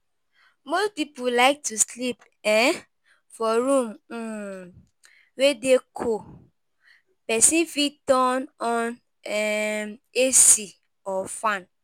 Most people like to sleep um for room um wey dey cool, person fit turn on um AC or fan